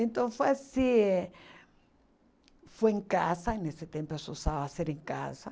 Então, foi assim eh... Foi em casa, nesse tempo ser em casa.